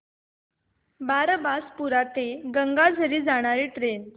बारबासपुरा ते गंगाझरी जाणारी ट्रेन